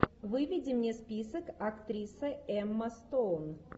выведи мне список актриса эмма стоун